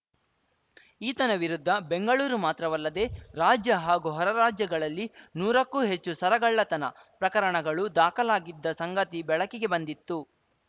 ಈತನ ವಿರುದ್ಧ ಬೆಂಗಳೂರು ಮಾತ್ರವಲ್ಲದೆ ರಾಜ್ಯ ಹಾಗೂ ಹೊರರಾಜ್ಯಗಳಲ್ಲಿ ನೂರಕ್ಕೂ ಹೆಚ್ಚು ಸರಗಳ್ಳತನ ಪ್ರಕರಣಗಳು ದಾಖಲಾಗಿದ್ದ ಸಂಗತಿ ಬೆಳಕಿಗೆ ಬಂದಿತ್ತು